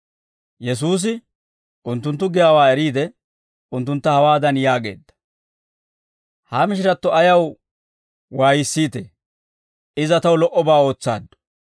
Yesuusi unttunttu giyaawaa eriide, unttuntta hawaadan yaageedda; «Ha mishiratto ayaw waayissiitee? Iza taw lo"obaa ootsaaddu.